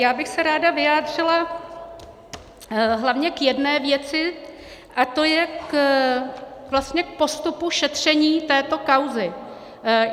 Já bych se ráda vyjádřila hlavně k jedné věci, a to je vlastně k postupu šetření této kauzy.